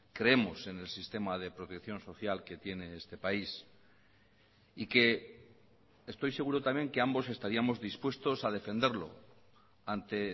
creemos en el sistema de protección social que tiene este país y que estoy seguro también que ambos estaríamos dispuestos a defenderlo ante